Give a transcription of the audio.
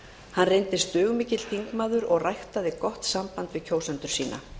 hann reyndist dugmikill þingmaður og ræktaði gott samband við kjósendur sína